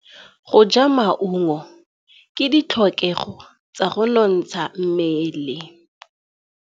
Go ja maungo ke ditlhokegô tsa go nontsha mmele.